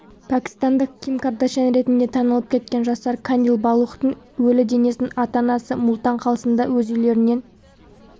пәкістандық ким кардяшьян ретінде танылып кеткен жасар кандил балухтың өлі денесін ата-анасы мултан қалсындағы өз үйлерінен